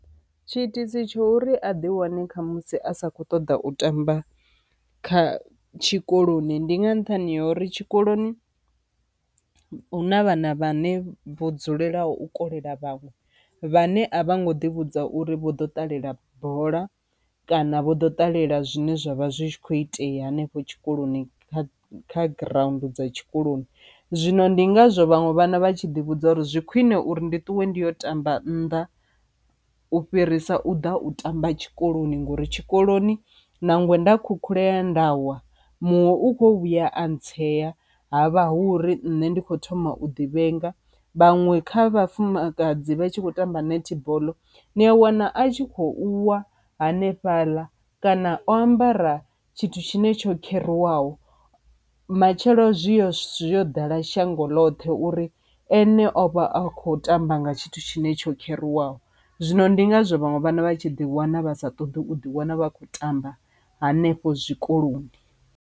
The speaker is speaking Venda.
Tshi itisi tsho uri a ḓi wane kha musi a sa kho ṱoḓa u tamba kha tshikoloni ndi nga nṱhani ha uri tshikoloni hu na vhana vhane vho dzulela u kolela vhaṅwe vhane a vho ngo ḓi vhudza uri vho ḓo ṱalela bola kana vho ḓo ṱalela zwine zwavha zwi kho itea hanefho tshikoloni kha kha ground dza tshikoloni. Zwino ndi ngazwo vhaṅwe vhana vha tshi ḓi vhudza uri zwi khwine uri ndi ṱuwe ndi yo tamba nnḓa u fhirisa u ḓa u tamba tshikoloni ngori tshikoloni nangwe nda khukhulea nda wa muṅwe u kho vhuya a tsea havha hu uri nṋe ndi kho thoma u ḓi vhenga. Vhaṅwe kha vhafumakadzi vha tshi khou tamba netball ni a wana a tshi kho u wa hanefhaḽa kana o ambara tshithu tshine tsho kheruwaho matshelo zwi yo yo ḓala shango ḽoṱhe uri ene o vha a kho tamba nga tshithu tshine tsho kheruwa zwino ndi ngazwo vhaṅwe vhana vha tshi ḓi wana vha sa ṱoḓi u ḓi wana vha khou tamba hanefho zwikoloni.